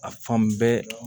A fan bɛɛ